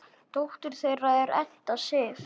Dóttir þeirra er Edda Sif.